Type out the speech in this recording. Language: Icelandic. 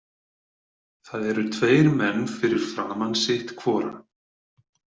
Það eru tveir menn fyrir framan sitt hvora.